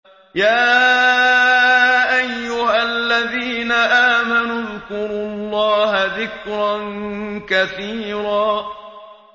يَا أَيُّهَا الَّذِينَ آمَنُوا اذْكُرُوا اللَّهَ ذِكْرًا كَثِيرًا